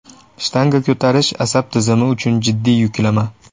Shtanga ko‘tarish asab tizimi uchun jiddiy yuklama.